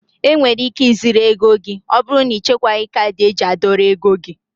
Enwere ike ị zurụ ego gị ọbụrụ na ichekwaghi kaadị eji a dọrọ ego gị.